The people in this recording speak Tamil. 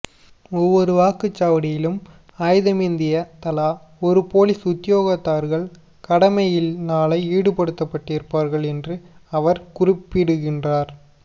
ஒவ்வொரு வாக்குச் சாவடியிலும் ஆயுதமேந்திய தலா இரு பொலிஸ் உத்தியோகத்தர்கள் கடமையில் நாளை ஈடுபடுத்தப்பட்டிருப்பார்கள் என்றும் அவர் குறிப்பிடுகின்றார்